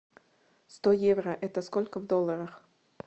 сто евро это сколько в долларах